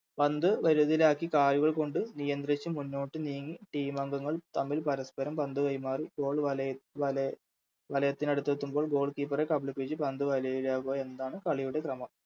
പന്ത് ലാക്കി കാലുകൾ കൊണ്ട് നിയന്ത്രിച്ച് മുന്നോട്ട് നീങ്ങി Team അംഗങ്ങൾ തമ്മിൽ പരസ്പ്പരം പന്ത് കൈമാറി Goal വലയത് വല വലയത്തിനടുത്തെത്തുമ്പോൾ Goalkeeper കബളിപ്പിച്ച് പന്ത് വലയിലാകുക എന്ന്താണ് കളിയുടെ ഭ്രമം